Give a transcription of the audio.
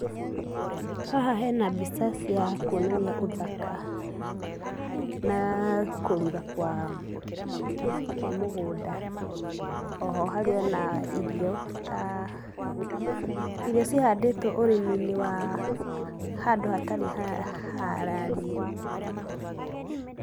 Haha hena mbica cia kuonania ũthaka, na kũrura kwa kwa mũgũnda oho harĩ ona irio ta, irio cihandĩtwo ũrĩminĩ wa handũ hatarĩ harariĩ.